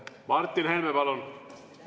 Martin Helme, palun!